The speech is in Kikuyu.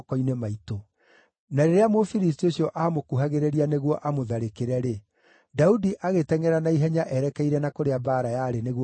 Na rĩrĩa Mũfilisti ũcio aamũkuhagĩrĩria nĩguo amũtharĩkĩre-rĩ, Daudi agĩtengʼera na ihenya erekeire na kũrĩa mbaara yarĩ nĩguo amũtũnge.